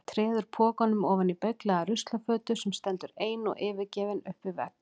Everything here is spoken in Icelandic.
Treður pokanum ofan í beyglaða ruslafötu sem stendur ein og yfirgefin upp við vegg.